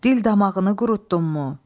Dil damağını qurutdunmu?